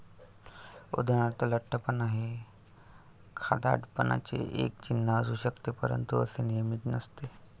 उदाहरणार्थ, लठ्ठपणा हे खादाडपणाचे एक चिन्ह असू शकते. परंतु असे नेहमीच नसते.